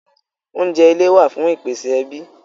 Oúnjẹ ilé wá fún ìpèsè ẹbí